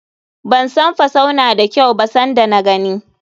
Ban san fusau na da kyau ba san da na gani.